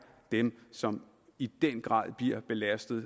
dem som i den grad bliver belastet